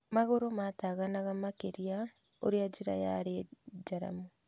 Magũrũ maataganaga makĩria ũrĩa njĩra yarĩ njaramu.